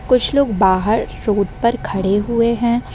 कुछ लोग बाहर रोड पर खड़े हुए हैं।